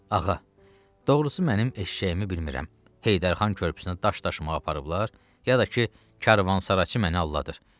Ağa, doğrusu mənim eşşəyimi bilmirəm, Heydər xan körpüsünə daş daşımağa aparıblar, ya da ki, karvansaraçı məni alladır.